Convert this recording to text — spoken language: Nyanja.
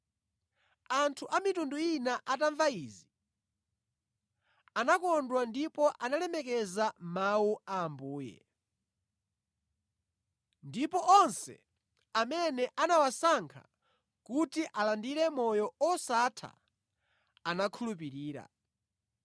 Anthu a mitundu ina atamva izi, anakondwa ndipo analemekeza Mawu Ambuye; ndipo onse amene anawasankha kuti alandire moyo osatha anakhulupirira.